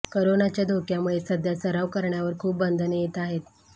करोनाच्या धोक्यामुळे सध्या सराव करण्यावर खूप बंधने येत आहेत